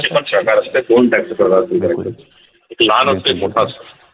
प्रकार असते दोन type चे प्रकार असते एक लहान असतो एक मोठा असतो